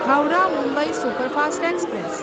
Howrah Mumbai superfast express